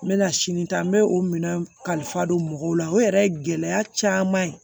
N bɛna sini ta n bɛ o minɛn kalifa don mɔgɔw la o yɛrɛ ye gɛlɛya caman ye